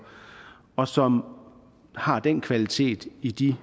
og som har den kvalitet i de